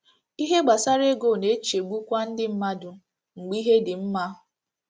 Ihe gbasara ego na - echegbukwa ndị mmadụ mgbe ihe dị mma.